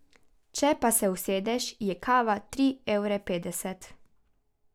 Če pa se usedeš, je kava tri evre petdeset.